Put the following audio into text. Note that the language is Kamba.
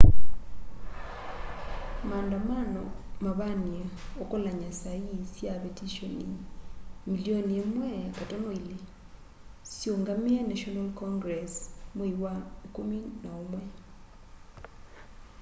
maandamano mavaniie ukolany'a sa ii sya vetishoni milioni 1.2 siungamie national congress mwei wa ikumi na umwe